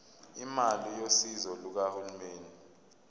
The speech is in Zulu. imali yosizo lukahulumeni